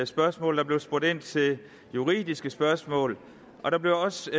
spørgsmål der blev spurgt ind til juridiske spørgsmål og der blev også